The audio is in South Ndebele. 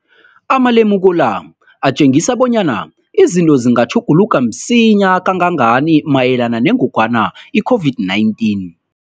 Amalemuko la atjengisa bonyana izinto zingatjhuguluka msinyana kangangani mayelana nengogwana i-COVID-19.